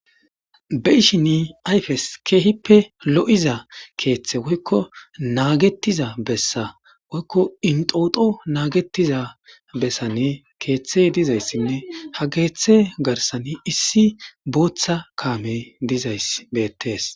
be'ishini ayfes keehippe lo7iza keeththe woykko naagetiza bessa woykko inxooxo naagetiza bessanne keeththey dizayssinne ha geeththe garsan issi booththa kaamey dizay. beettees